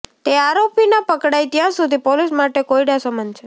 તે આરોપી ના પકડાય ત્યાં સુધી પોલીસ માટે કોયડા સમાન છે